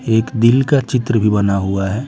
एक दिल का चित्र भी बना हुआ है।